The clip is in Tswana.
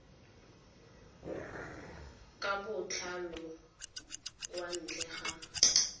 ka botlalo kwa ntle ga